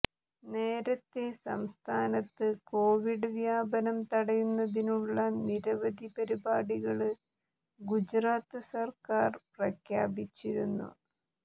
നേരത്തെ സംസ്ഥാനത്ത് കോവിഡ് വ്യാപനം തടയുന്നതിനുള്ള നിരവധി പരിപാടികള് ഗുജറാത്ത് സര്ക്കാര് പ്രഖ്യാപിച്ചിരുന്നു